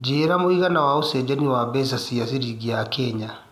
njĩira mũigana wa ũcenjanĩa mbeca wa ciringi ya Kenya